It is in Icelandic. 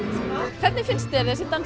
hvernig finnst þér þessir dansar